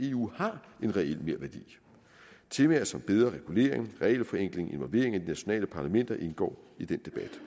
eu har en reel merværdi temaer som bedre regulering regelforenkling og involvering af de nationale parlamenter indgår i den debat